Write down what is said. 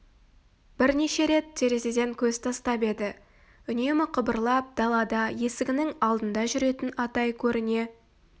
бірнеше рет терезеден көз тастап еді үнемі қыбырлап далада есігінің алдында жүретін атай көріне